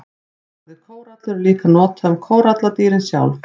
Orðið kórallur er líka notað um kóralladýrin sjálf.